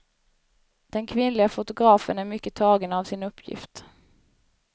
Den kvinnliga fotografen är mycket tagen av sin uppgift.